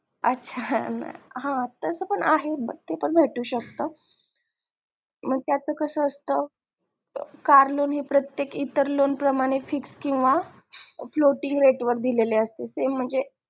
अच्छा हा तस पण आहे ते पण भेटू शकत पण त्याच कास असत कार लोण हे प्रत्येक इतर लोण प्रमाणे fix किंवा floating rate वर दिले असते प्रमाणे दिले असते ते म्हणजे